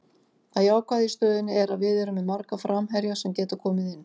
Það jákvæða í stöðunni er að við erum með marga framherja sem geta komið inn.